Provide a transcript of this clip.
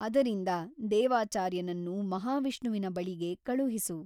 ಅದರಿಂದ ದೇವಾಚಾರ್ಯನನ್ನು ಮಹಾವಿಷ್ಣುವಿನ ಬಳಿಗೆ ಕಳುಹಿಸು.